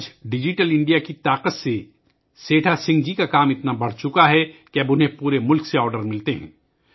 آج digital India کی طاقت سے سیٹھا سنگھ جی کا کام اتنا بڑھ گیا ہے کہ اب انہیں پورے ملک سے آرڈر ملتے ہیں